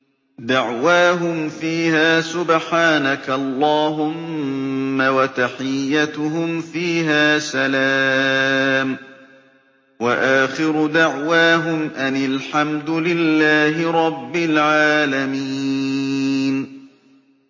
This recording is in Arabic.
دَعْوَاهُمْ فِيهَا سُبْحَانَكَ اللَّهُمَّ وَتَحِيَّتُهُمْ فِيهَا سَلَامٌ ۚ وَآخِرُ دَعْوَاهُمْ أَنِ الْحَمْدُ لِلَّهِ رَبِّ الْعَالَمِينَ